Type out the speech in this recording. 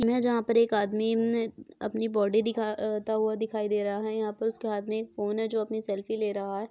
इस मे जहाँ पर एकआदमी हम्म अपनी बॉडी दिखाता हुआ दिखाई दे रहा हैंयहाँ पर उसके हाथ में एक फोन हैजो अपनी सेल्फ़ी ले रहा हैं।